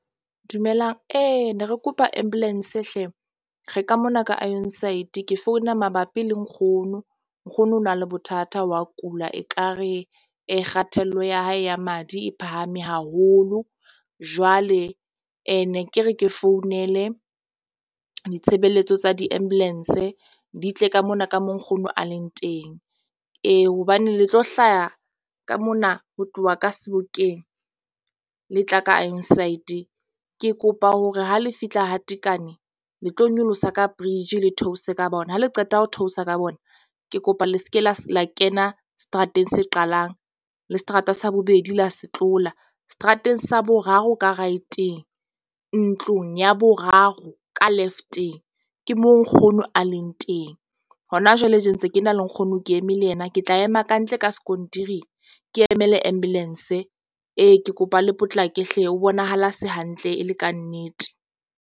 Dumelang ne re kopa ambulance hle re ka mona ka , ke founa mabapi le nkgono. Nkgono o na le bothata wa kula ekare e kgathello ya hae ya madi e phahame haholo. Jwale ne ke re ke founele. Ditshebeletso tsa di- ambulance di tle ka mona. Ka mo nkgono a leng teng. Ee hobane le tlo hlaha ka mona ho tloha ka Sebokeng le tla ka . Ke kopa hore ha le fihla ha Tekane, le tlo nyolosa ka bridge le theose ka bona ha le qeta ho theosa ka bona. Ke kopa le seke la kena seterateng se qalang le seterata, sa bobedi la se tlola. Seterateng sa boraro, ka right-teng ntlong ya boraro ka left-eng. Ke mo nkgono a leng teng hona jwale je ntse ke na le nkgono, ke eme le yena, ke tla ema kantle ka sekontiring. Ke emele ambulance ee ke kopa le potlake hle, O bonahala a se hantle e le kannete.